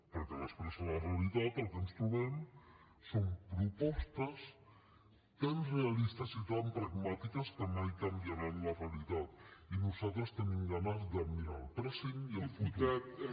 perquè després a la realitat el que ens trobem són propostes tan realistes i tan pragmàtiques que mai canviaran la realitat i nosaltres tenim ganes de mirar al present i el futur